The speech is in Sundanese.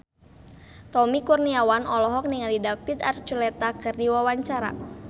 Tommy Kurniawan olohok ningali David Archuletta keur diwawancara